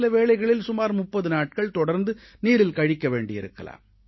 சில வேளைகளில் சுமார் 30 நாட்கள் தொடர்ந்து நீரில் கழிக்க வேண்டியிருக்கலாம்